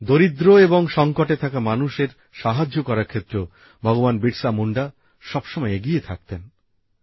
দরিদ্র এবং সঙ্কটে থাকা মানুষের সাহায্য করার ক্ষেত্রেও ভগবান বিরসা মুন্ডা সবসময় এগিয়ে থাকতেন